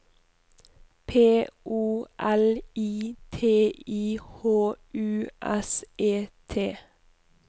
P O L I T I H U S E T